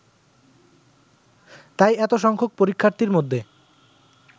তাই এতসংখ্যক পরীক্ষার্থীর মধ্যে